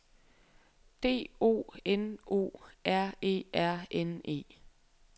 D O N O R E R N E